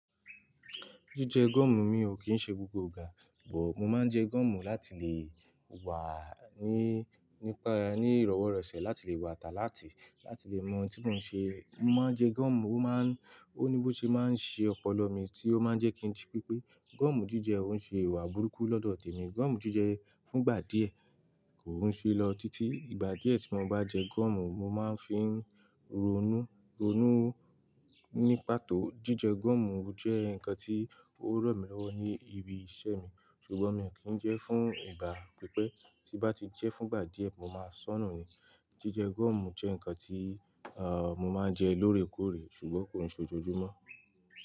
Jíjẹ gọ̀mù mi ò kí ṣe gbogbo ìgbà, bọ̀ mo máa ń jẹ gọ̀mù láti lè wà ní nípa ní ìrọ́wọ́rọ̀sẹ̀ láti lè wà at alert, láti lè mọ tí mò ń ṣe. Mo máa ń jẹ gọ̀mù, ó máa ń, ó ní bó ṣe máa ń ṣe ọpọlọ mi tí ó máa ń jẹ́ kí n ji pepé. Gọ̀mù jíjẹ ó ń ṣe ìwà burúkú lọ́dọ̀ tèmi. Gọ̀mù jíjẹ fún ìgbà díẹ̀ kò ń ṣe lọ títí ìgbà díẹ̀ tí mo bá jẹ gọ̀mù, mo máa ń fi rònú, rònú ní pàtó. Jíjẹ gọ̀mù jẹ́ nǹkan tí ó ran mí lọ́wọ́ ní ibi iṣẹ́ mi, ṣùgbọ́n mi ò kí ń jẹ fún ìgbà pípé, tí bá ti jẹ́ fún ìgbà díẹ̀, mo máa sọnù ni. Jíjẹ gọ̀mù jẹ́ nǹkan tí, ààh, mo máa ń jẹ lóòrèkóòrè, ṣùgbọ́n kò n ṣe ojoojúmọ́